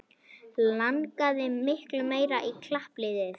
Langaði miklu meira í klappliðið